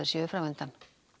séu fram undan